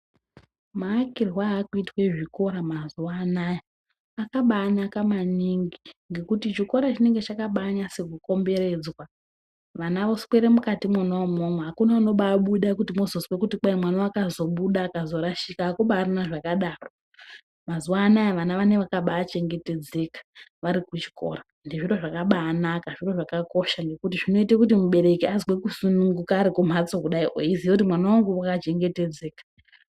Maakirwe aakuitwe zvikora mazuwa anoaya akaba anaka maningi ngekuti chikora chinonga chakabanase kukomberedzwa vana voswere mukatimwona umwomwo, akuna unobabuda kuti mwozozwe kuti kwai mwana wakazobuda akarashika, akubaarina zvakadaro ,mazuanoaya vana vanenge vakachengetedzeka vari kuchikora, zviro zvakabanaka zviro zvakakosha, konguti zvinoite kuti mubereki azwe kusununguka kudai ari kumhatso eiziye kuti mwana wangu wakachengetedzeka.